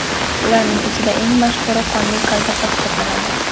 Ularning ichida eng mashhuri qonli kolbasa hisoblanadi.